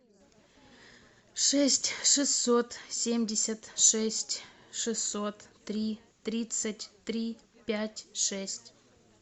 шесть шестьсот семьдесят шесть шестьсот три тридцать три пять шесть